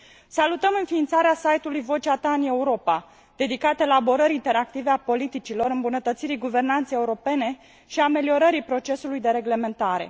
Salutăm înființarea site ului Vocea ta în Europa, dedicat elaborării interactive a politicilor, îmbunătățirii guvernanței europene și ameliorării procesului de reglementare.